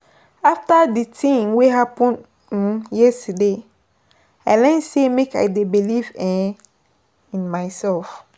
After di tin wey happen um yesterday, I learn sey make I dey believe um in mysef.